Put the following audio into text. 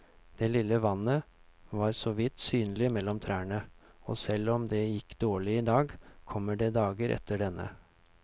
Det lille vannet var såvidt synlig mellom trærne, og selv om det gikk dårlig i dag, kommer det dager etter denne.